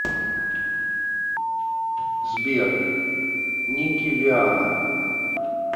сбер никки вианна